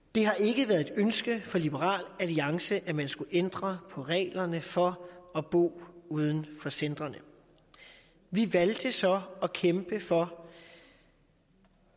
det har ikke været et ønske fra liberal alliance at man skulle ændre på reglerne for at bo uden for centrene vi valgte så at kæmpe for